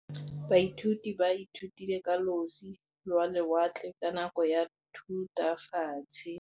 Baithuti ba ithutile ka losi lwa lewatle ka nako ya Thutafatshe.